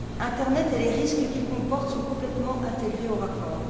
L'internet et les risques qu'il comporte sont complètement intégrés au rapport.